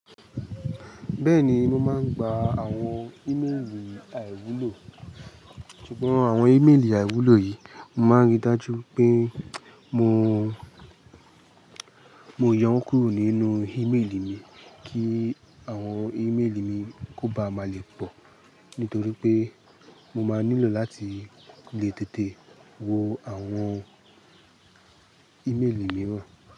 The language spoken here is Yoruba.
Bẹ́ẹ̀ni, mo máa ń gba àwọn íméèlì àìwúlò, ṣùgbọ́n àwọn íméèlì àìwúlò yìí, mo máa ń ríi dájú pé mo, mo yo wọ́n kúrò nínú íméèlì mi kí àwọn íméèlì mi kó ba à má lè pọ̀. Nítorí pé mo máa nílò láti lè tètè wo àwọn íméèlì mìíràn.